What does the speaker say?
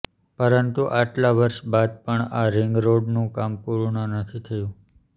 પરંતુ આટલાં વર્ષ બાદ પણ આ રિંગરોડનું કામ પૂર્ણ નથી થયું